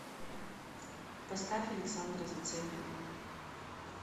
поставь александра зацепина